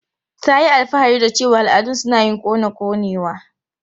Ta yi alfahari da cewa al'adun su na yin kona konewa.